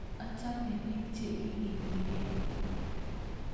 achame biik che igiligei